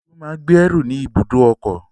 Olú máa ń gbẹ́rù ni ibùdó ọkọ̀.